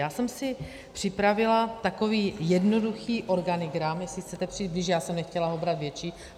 Já jsem si připravila takový jednoduchý organigram, jestli chcete přijít blíž , já jsem nechtěla ho brát větší.